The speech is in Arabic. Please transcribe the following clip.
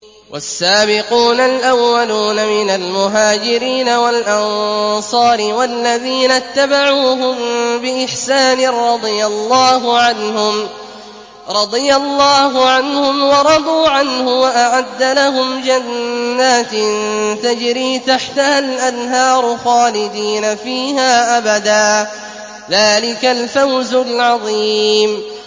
وَالسَّابِقُونَ الْأَوَّلُونَ مِنَ الْمُهَاجِرِينَ وَالْأَنصَارِ وَالَّذِينَ اتَّبَعُوهُم بِإِحْسَانٍ رَّضِيَ اللَّهُ عَنْهُمْ وَرَضُوا عَنْهُ وَأَعَدَّ لَهُمْ جَنَّاتٍ تَجْرِي تَحْتَهَا الْأَنْهَارُ خَالِدِينَ فِيهَا أَبَدًا ۚ ذَٰلِكَ الْفَوْزُ الْعَظِيمُ